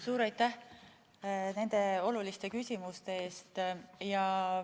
Suur aitäh nende oluliste küsimuste eest!